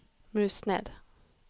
mus ned